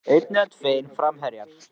Einn eða tveir framherjar?